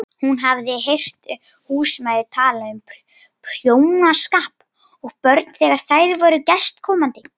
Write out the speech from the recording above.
Hún hafði heyrt húsmæður tala um prjónaskap og börn þegar þær voru gestkomandi.